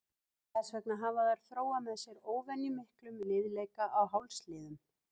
Þess vegna hafa þær þróað með sér óvenjumiklum liðleika á hálsliðum.